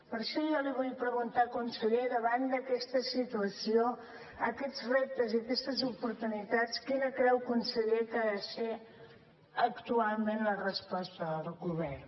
per això jo li vull preguntar conseller davant d’aquesta situació aquests reptes i aquestes oportunitats quina creu conseller que ha de ser actualment la resposta del govern